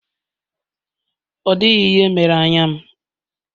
Ọ dịghị ihe mere m anya.